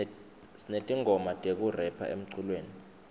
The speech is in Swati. sinetingoma tekurepha emculweni